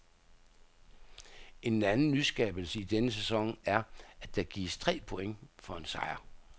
En anden nyskabelse i denne sæson er, at der gives tre point for en sejr.